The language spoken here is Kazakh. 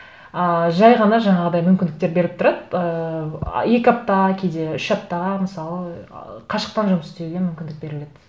ыыы жай ғана жаңағыдай мүмкіндіктер беріп тұрады ыыы екі апта кейде үш аптаға мысалы ы қашықтан жұмыс істеуге мүмкіндік беріледі